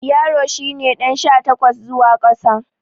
Yaro shi ne ɗan sha takwas zuwa ƙasa.